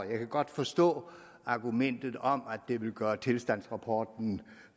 kan godt forstå argumentet om at det vil gøre tilstandsrapporten